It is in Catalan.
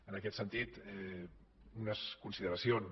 en aquest sentit unes consideracions